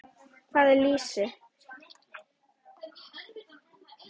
Hvað er lýsi?